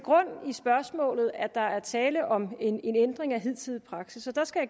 grund i spørgsmålet at der er tale om en ændring af hidtidig praksis og der skal